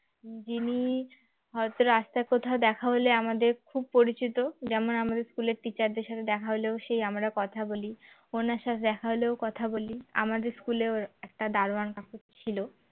যিনি হয়তো রাস্তায় কোথাও দেখা হলে আমাদের খুব পরিচিত যেমন আমাদের school এর teacher দের সাথে দেখা হলেও সে আমরা কথা বলি উনার সাথে দেখা হলেও কথা বলি আমাদের school এও একটা দারোয়ান কাকু ছিল